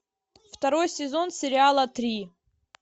второй сезон сериала три